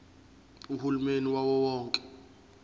uhulumeni wawo wonke